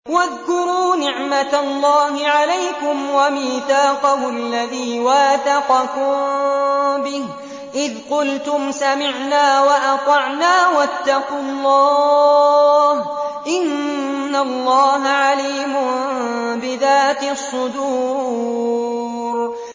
وَاذْكُرُوا نِعْمَةَ اللَّهِ عَلَيْكُمْ وَمِيثَاقَهُ الَّذِي وَاثَقَكُم بِهِ إِذْ قُلْتُمْ سَمِعْنَا وَأَطَعْنَا ۖ وَاتَّقُوا اللَّهَ ۚ إِنَّ اللَّهَ عَلِيمٌ بِذَاتِ الصُّدُورِ